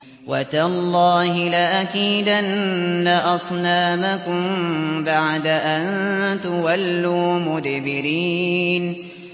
وَتَاللَّهِ لَأَكِيدَنَّ أَصْنَامَكُم بَعْدَ أَن تُوَلُّوا مُدْبِرِينَ